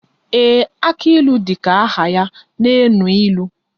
Ee, aka ilu dịka aha ya na enu ilu